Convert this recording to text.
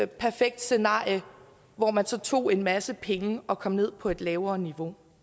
perfekt scenarie hvor man så tog en masse penge og kom ned på et lavere niveau